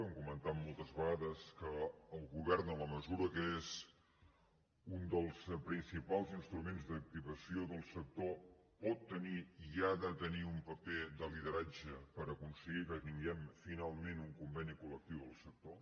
hem comentat moltes vegades que el govern en la mesura que és un dels principals instruments d’activació del sector pot tenir i ha de tenir un paper de lideratge per aconseguir que tinguem finalment un conveni col·lectiu del sector